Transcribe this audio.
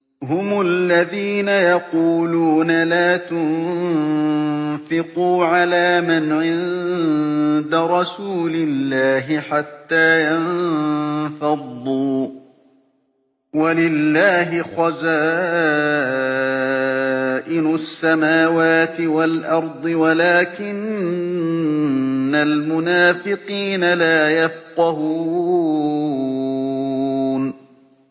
هُمُ الَّذِينَ يَقُولُونَ لَا تُنفِقُوا عَلَىٰ مَنْ عِندَ رَسُولِ اللَّهِ حَتَّىٰ يَنفَضُّوا ۗ وَلِلَّهِ خَزَائِنُ السَّمَاوَاتِ وَالْأَرْضِ وَلَٰكِنَّ الْمُنَافِقِينَ لَا يَفْقَهُونَ